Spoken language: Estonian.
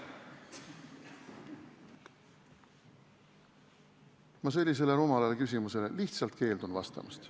Ma sellisele rumalale küsimusele lihtsalt keeldun vastamast.